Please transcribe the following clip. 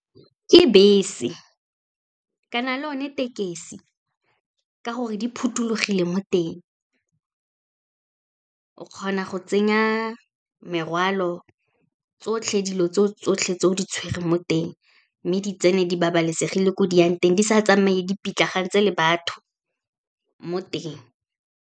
Ke bese, kana le one tekesi, ka gore di phothulogile mo teng. O kgona go tsenya merwalo, tsotlhe dilo tse tsotlhe tse o di tshwereng mo teng, mme di tsene di babalesegile ko di yang teng, di sa tsamaye dipitlagantse le batho, mo teng.